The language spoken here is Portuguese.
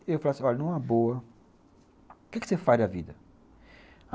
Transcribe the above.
Eu falaria assim, olha, numa boa, o que é que você faz da vida?